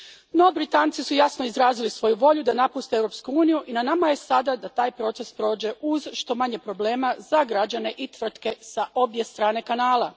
No, Britanci su jasno izrazili svoju volju da napuste Europsku uniju i na nama je sada da taj proces prođe uz što manje problema za građane i tvrtke s obje strane Kanala.